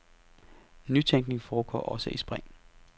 Nytænkning foregår også i spring.